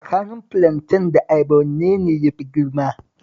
Tsakanin filanten da ayaba wanne ne ya fi girma?